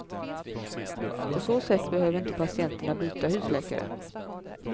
På så sätt behöver inte patienterna byta husläkare.